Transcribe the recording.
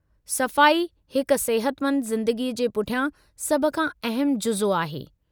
सफ़ाई हिक सिहतमंद ज़िंदगी जे पुठियां सभ खां अहमु जुज़ो आहे।